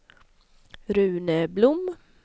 Rune Blom